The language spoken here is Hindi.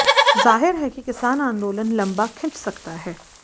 जाहिर है कि किसान आंदोलन लंबा खिंच सकता है